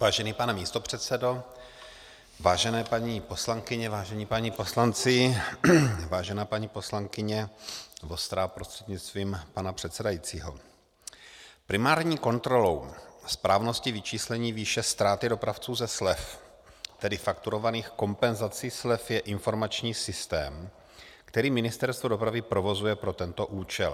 Vážený pane místopředsedo, vážené paní poslankyně, vážení páni poslanci, vážená paní poslankyně Vostrá prostřednictvím pana předsedajícího, primární kontrolou správnosti vyčíslení výše ztráty dopravců ze slev, tedy fakturovaných kompenzací slev, je informační systém, který Ministerstvo dopravy provozuje pro tento účel.